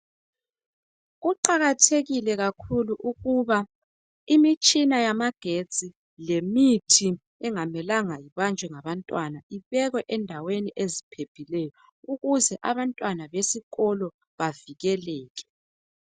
Kuqakathekila kakhulu ukuba imitshina yamagetsi lemithi engamelanga ibanjwe ngabantwana kubekwe endaweni eziphephileyo ukuze abantwana besikolo bavikeleke.